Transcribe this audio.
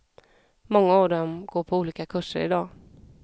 Många av dem går på olika kurser idag.